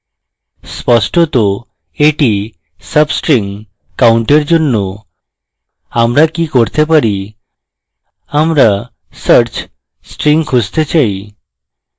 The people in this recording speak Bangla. স্পষ্টত এটি substringcount এর জন্য আমরা কি করতে হবে আমরা search string খুঁজতে চাই